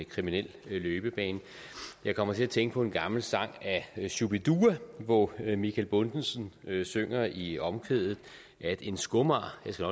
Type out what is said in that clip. kriminel løbebane jeg kommer til at tænke på en gammel sang af shubidua hvor michael bundesen synger i omkvædet at en skomager jeg skal